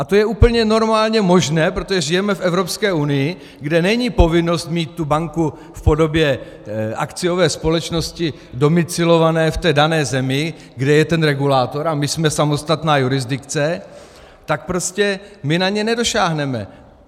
A to je úplně normálně možné, protože žijeme v Evropské unii, kde není povinnost mít tu banku v podobě akciové společnosti domicilované v té dané zemi, kde je ten regulátor, a my jsme samostatná jurisdikce, tak prostě my na ně nedosáhneme.